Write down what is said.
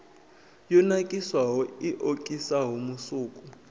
yo nakiswaho i okisaho musuku